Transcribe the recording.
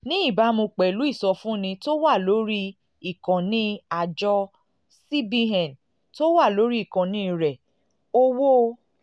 ní ìbámu pẹ̀lú ìsọfúnni tó wà lórí ìkànnì um àjọ cbn tó wà lórí ìkànnì rẹ̀ owó um